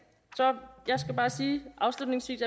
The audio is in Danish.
så jeg skal bare afslutningsvis